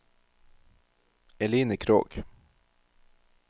Eline Krogh